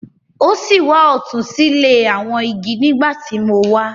O si wà ọtun sile awọn igi nigbati mo wá.